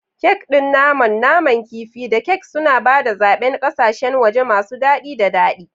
Kek ɗin naman, naman kifi, da kek suna ba da zaɓen ƙasashen waje masu daɗi da daɗi.